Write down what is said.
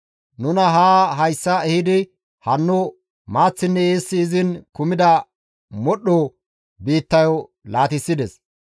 Nuna haa hayssa ehidi hanno maaththinne eessi izin kumida modhdho biittayo laatissides.